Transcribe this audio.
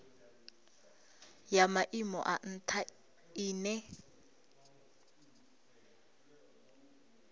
ya maimo a ntha ine